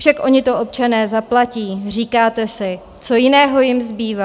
Však oni to občané zaplatí, říkáte si, co jiného jim zbývá.